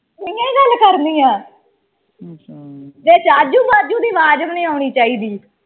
ਤੂੰਹੀਓਂ ਕਰਨੀ ਆ ਵਿਚ ਆਜੂ ਬਾਜੂ ਦੀ ਆਵਾਜ਼ ਵੀ ਨਹੀਂ ਆਉਣੀ ਚਾਹੀਦੀ।